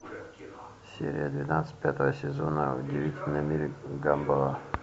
серия двенадцать пятого сезона удивительный мир гамбола